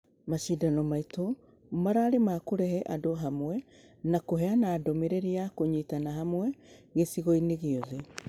Mashidano maitũ mararĩ makũrehe andũ hamwe na kũheana ndũmereri ya kũnyitana hamwe na .......gĩcigo-inĩ gĩothe.